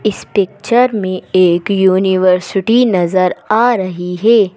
इस पिक्चर में एक यूनिवर्सिटी नजर आ रही है।